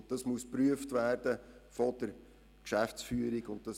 Diese Unterlagen müssen von der Geschäftsführung geprüft werden.